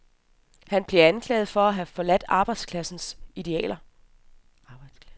Han bliver anklaget for at have forladt arbejderklasses idealer.